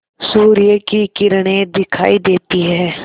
सूर्य की किरणें दिखाई देती हैं